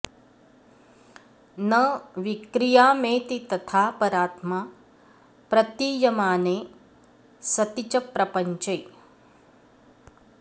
न विक्रियामेति तथा परात्मा प्रतीयमाने सति च प्रपञ्चे